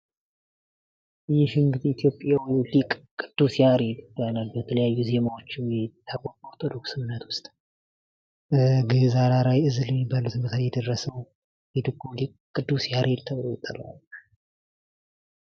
ይህ እንግዲህ ኢትዮጵያዊው ሊቅ ቅዱስ ያሬድ ይባላል። በተለያዩ ዜማዎቹ የሚታወቅ በኦርቶዶክስ እምነት ውስጥ ግዕዝ፣ አራራይ፣ ዕዝል የሚባሉትን በተለይ የደረሰው የድጓው ሊቅ ቅዱስ ያሬድ ተብሎ ይጠራል።